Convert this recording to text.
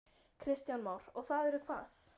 Kristján Már: Og það eru hvað?